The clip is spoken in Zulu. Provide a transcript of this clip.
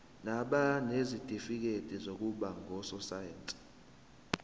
nabanezitifikedi zokuba ngososayense